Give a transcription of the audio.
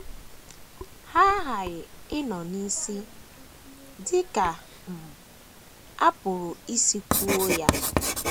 Ha aghaghị ịnọ n’isi, dị ka um a pụrụ isi kwuo ya.